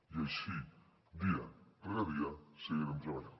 i així dia rere dia seguirem treballant